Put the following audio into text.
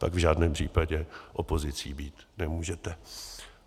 Pak v žádném případě opozicí být nemůžete.